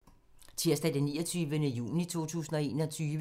Tirsdag d. 29. juni 2021